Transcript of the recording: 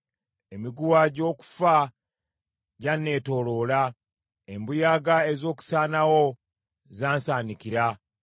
Emiguwa gy’okufa gyanneetooloola; embuyaga ez’okusaanawo zansaanikira.